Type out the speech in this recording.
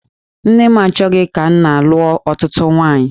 Nne m achọghị ka nna lụọ ọtụtụ nwaanyị.